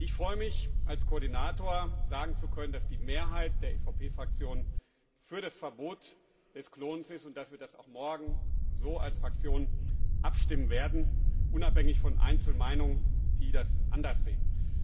Ich freue mich, als Koordinator sagen zu können, dass die Mehrheit der EVP Fraktion für das Verbot des Klonens ist und dass wir das auch morgen so als Fraktion abstimmen werden, unabhängig von Einzelmeinungen, die das anders sehen.